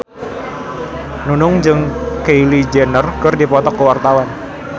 Nunung jeung Kylie Jenner keur dipoto ku wartawan